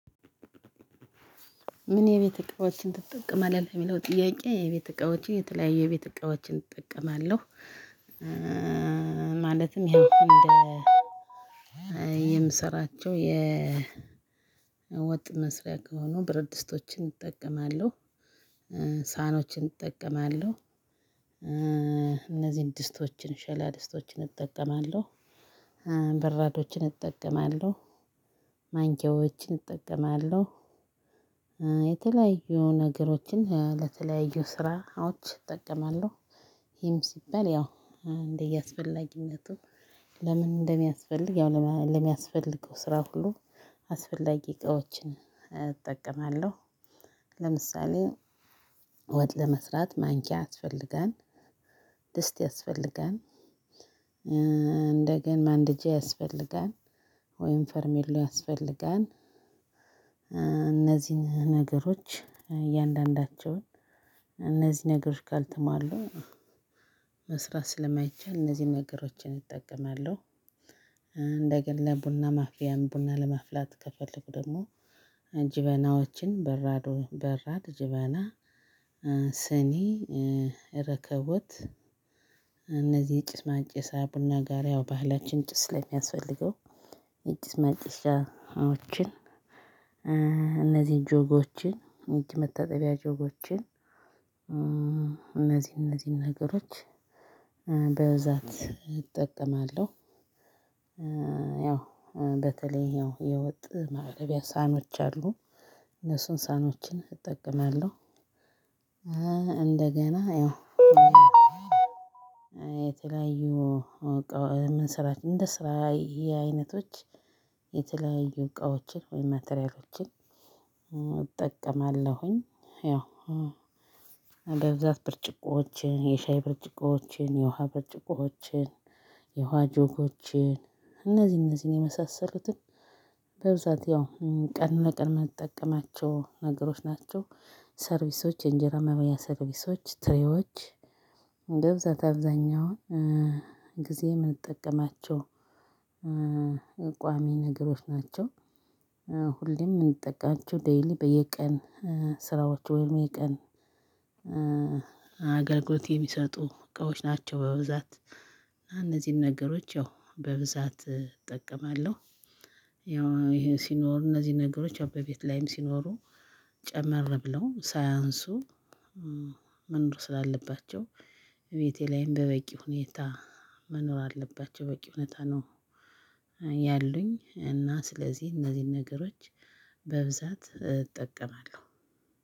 ምን? የቤት እቃዎችን ትጠቀማለህ የሚለው ጥያቄ የቤት እቃዎቼ የተለያየ የቤት እቃዎችን እጠቀማለሁ። ማለትም ያው እንደ የምሰራቸው የወጥ መስሪያ ከሆኑ ብረት ድስቶችን እጠቀማለሁ። ሳኖችን እጠቀማለሁ። እነዚህን ድስቶችን ሸክላ ድስቶችን እጠቀማለሁ። በራዶችን እጠቀማለሁ። ማንኪያዎችን እጠቀማለሁ። የተለያዩ ነገሮችን ለተለያዩ ስራዎች እጠቀማለሁ ይም ሲባል ያው እንደየአስፈላጊነቱ ለምን እንደሚያስፈልግ ያው ለሚያስፈልገው ስራ ሁሉ አስፈላጊ እቃዎችን እጠቀማለሁ። ለምሳሌ ወጥ ለመስራት ማንኪያ ያስፈልጋል። ድስት ያስፈልጋል። እንደገና ማንደጃ ያስፈልጋል። ወይም ፈርሜሎ ያስፈልጋል። እነዚህን ነገሮች እያንዳንዳቸውን እነዚህ ነገሮች ጋር ካልተማሉ መስራት ስለማይቻል እነዚህን ነገሮችን እጠቀማለሁ። እንደገና ለቡና ማፍያም ቡና ለማፍላት ከፈለግን ደግሞ ጀበናዎችን በራዶ ጀበና ስኒ እረከቦት እነዚህ ጭስ ማጨሻ ቡና ጋር ያው ባህላችን ጭስ ስለሚያስፈልገው ጭስ ማጨሻዎችን እነዚህ ጆኮችን እጅ መታጠቢያ ጆኮችን እነዚህ እነዚህን ነገሮች በብዛት እጠቀማለሁ። ያው በተለይ ያው የወጥ ማቅረብያ ሳኖች አሉ እነሱን ሳኖችን እጠቀማለሁ። እንደገና ይኸው የተለያዩ እቃዎች ምንሰ እንደየ ስራዬ አይነቶች የተለያዩ እቃዎችን ወይም ማቴሪያሎችን እጠቀማለሁኝ። ያው በብዛት ብርጭቆችን የሻይ ብርጭቆችን የውሃ ብርጭቆችን የውሃ ጆጎችን እነዚህ እነዚህን የመሳሰሉትን በብዛት ያው ቀን ለቀን ምንጠቀማቸው ነገሮች ናቸው። ሰርቪሶች የእንጀራ መብያ ሰርቪሶች ትሬዎች በብዛት አብዛኛውን ጊዜ የምንጠቀማቸው እቋሚ ነገሮች ናቸው። ሁሌም የምንጠቀማቸው ዴይሊ በየቀን ስራዎች ወይም የቀን አገልግሎት የሚሰጡ እቃዎች ናቸው በብዛት እና እነዚህን ነገሮች ያው በብዛት እጠቀማለሁ። ያው ይሄ ሲኖር እነዚህ ነገሮች አበቤት ላይም ሲኖሩ ጨመር ብለው ሳያንሱ መኖር ስላለባቸው ቤቴ ላይም በበቂ ሁኔታ መኖር አለባቸው በቂ ሁኔታ ነው። ያሉኝ እና ስለዚህ እነዚህን ነገሮች በብዛት እጠቀማለሁ።